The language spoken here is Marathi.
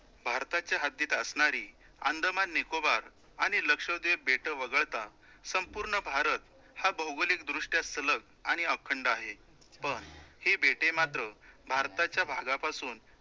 भारताच्या हद्दीत असणारी अंदमान, निकोबार आणि लक्षद्वीप बेटं वगळता, संपूर्ण भारत हा भौगोलिक दृष्ट्या सलग आणि अखंड आहे, पण ही बेटे मात्र भारताच्या भागापासून